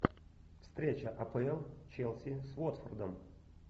встреча апл челси с уотфордом